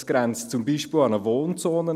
Dies grenzt zum Beispiel an eine Wohnzone.